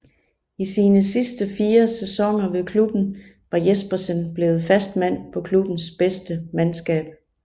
I sine sidste fire sæsoner ved klubben var Jespersen blevet fast mand på klubbens bedste mandskab